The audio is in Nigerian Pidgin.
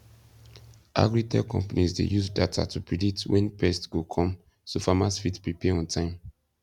agritech companies dey use data to predict when pests go come so farmers fit prepare on time